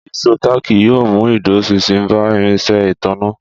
Ìṣó táàkì yóò mú ìdúróṣinṣin bá irinṣẹ́ ìtanná